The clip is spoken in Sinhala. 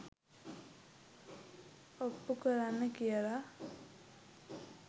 ඔප්පු කරන්න කියලා